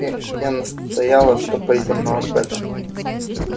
э я настояла что пойдём на макбета